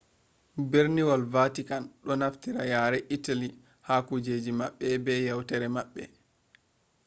berniwol vatikan do naftira yare italy ha kujeji mabbe be yewtare maɓɓe